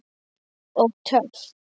Og töff.